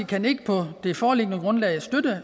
kan ikke på det foreliggende grundlag støtte